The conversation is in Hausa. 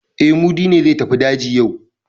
E, Mudi ne zai tafi daji yau.